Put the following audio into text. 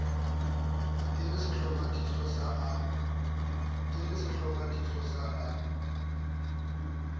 e le sehlomathiso sa a